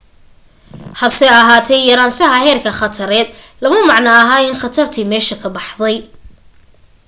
hase ahaatee yaraanshaha heerka khatareed lama macno aha in khatartii meesha ka baxday